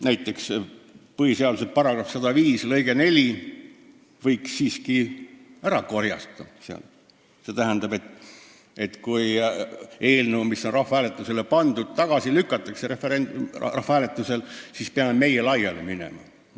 Näiteks võiks põhiseaduse § 105 lõike 4 siiski sealt ära korjata, st selle, et kui eelnõu, mis on rahvahääletusele pandud, tagasi lükatakse, siis peame meie laiali minema.